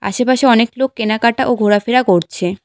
আশেপাশে অনেক লোক কেনাকাটা ও ঘোরাফেরা করছে।